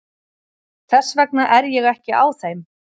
Þess vegna er ég ekki á þeim.